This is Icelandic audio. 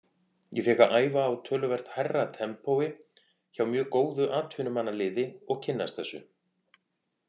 Ég fékk að æfa á töluvert hærra tempói hjá mjög góðu atvinnumannaliði og kynnast þessu.